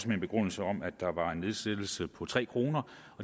med en begrundelse om at der var en nedsættelse på tre kroner